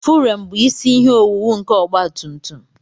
Furem bụ isi ihe owuwu nke ọgba tum tum